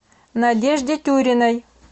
надежде тюриной